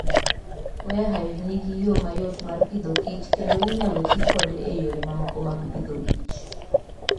Warre Hive nigi yo mayot mar Agriculture and Food kendo inyalo ti kode e yore mamoko mag pidhokich